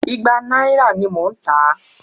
Ìgbà náírà ní mò ń tà á.